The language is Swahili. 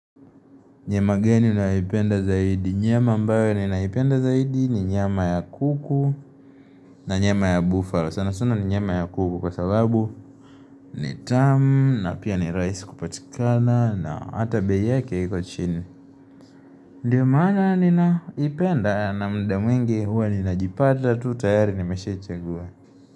Nyama gani naipenda zaidi. Nyama ambayo ninaipenda zaidi ni nyama ya kuku na nyama ya buffalo. Sana sana ni nyama ya kuku kwa sababu ni tamu na pia ni rahisi kupatikana na hata bei yake iko chini. Ndiyo maana ninaipenda na muda mwingi huwa ninajipata tu tayari nimeshaichagua.